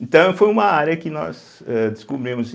Então, foi uma área que nós âh descobrimos.